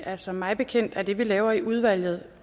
altså mig bekendt er det vi laver i udvalget